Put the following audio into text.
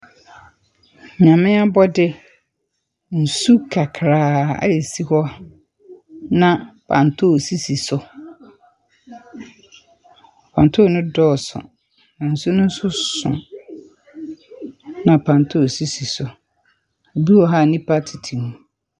Nyame abɔde, nsu kakraa a ɛsi hɔ, na pantoo sisi so. Pantoo no dɔɔso. Nsu no nso so, na pantoo sisi so. Ebi wɔ hɔ nnipa tete mu.